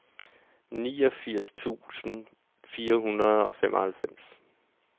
niogfirs tusind fire hundrede og femoghalvfems